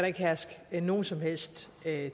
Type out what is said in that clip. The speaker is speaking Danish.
ikke herske nogen som helst